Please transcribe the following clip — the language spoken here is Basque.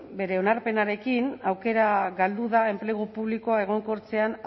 bere onarpenarekin aukera galdu da enplegu publikoa egonkortzean